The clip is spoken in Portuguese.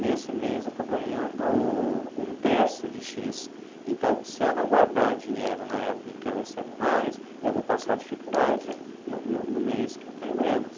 Nesse mês eu estou ganhando um terço de xis. Então, se eu não guardar dinheiro na época em que eu recebo mais, eu vou passar dificuldade no no no mês que eu tenho menos.